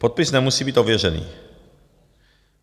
Podpis nemusí být ověřený.